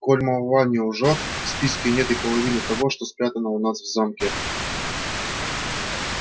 коль молва не лжёт в списке нет и половины того что спрятано у нас в замке